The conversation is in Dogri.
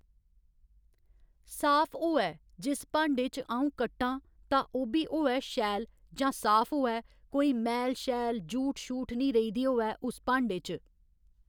साफ होऐ जिस भांडे च अ'ऊं कट्टां तां ओह् बी होऐ शैल जां साफ होऐ कोई मैल शैल जूठ शूठ निं रेही दी होऐ उस भांडे च